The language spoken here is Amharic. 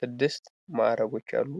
ስድስት ማዕረጎች አሉ።